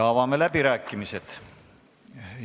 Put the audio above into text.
Avame läbirääkimised.